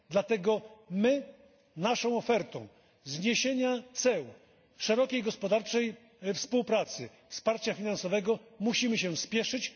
Dlatego my z naszą ofertą zniesienia ceł, szerokiej gospodarczej współpracy, wsparcia finansowego musimy się spieszyć.